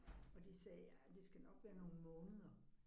Og de sagde ja det skal nok være nogle måneder